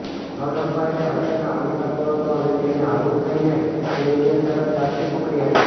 third અમ્પાયરે હસીને out આપ્યો હતો અને તેણે આઉટ થઇને પેવેલિયન તરફ ચાલતી પકડી હતી